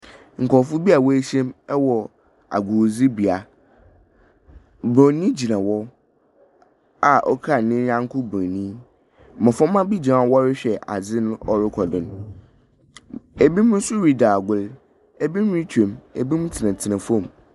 Nkorɔfo bi woehyia mu wɔ agordzibea, borɔnyi gyina hɔ a okura ne nyɛnko borɔnyi. Mboframba bi gyina hɔ a wɔrohwɛ adze no ɔrekɔ do no, binom ridzi agor, binom rutwa mu, binom tsenatsena famu.